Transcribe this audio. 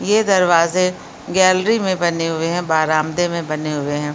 ये दरवाजे गैलरी में बने हुए हैं बारामदे में बने हुए हैं।